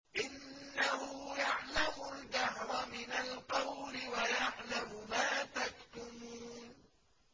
إِنَّهُ يَعْلَمُ الْجَهْرَ مِنَ الْقَوْلِ وَيَعْلَمُ مَا تَكْتُمُونَ